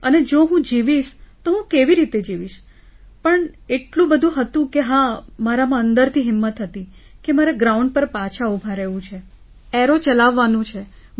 અને જો હું જીવીશ તો હું કેવી રીતે જીવીશ પણ એટલું બધું હતું કે હા મારામાં અંદરથી હિંમત હતી કે મારે ગ્રાઉન્ડ પર પાછા ઊભા રહેવું છે એરો ચલાવવાનું છે